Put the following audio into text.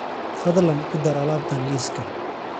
Fadlan ku dar alaabtan liiska